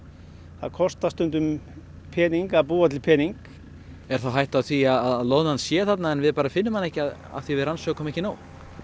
það kostar stundum pening að búa til pening er þá hætta á því að loðnan sé þarna en við finnum hana ekki af því að við rannsökum ekki nóg